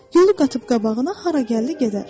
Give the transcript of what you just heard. Yolu qatıb qabağına hara gəldi gedər.